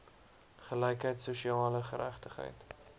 gelykheid sosiale geregtigheid